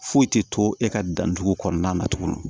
Foyi tɛ to e ka dan cogo kɔnɔna na tuguni